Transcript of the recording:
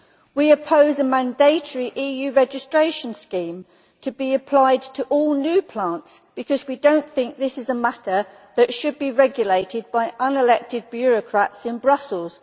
We oppose a mandatory EU registration scheme to be applied to all new plants, because we do not think that this is a matter that should be regulated by unelected bureaucrats in Brussels.